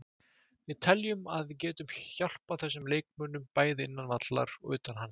Við teljum að við getum hjálpað þessum leikmönnum, bæði innan vallar og utan hans.